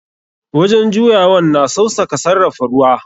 Wajen juyawan na sausaka sarrafa ruwa.